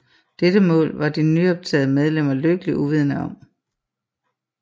Dette mål var de nyoptagede medlemmer lykkeligt uvidende om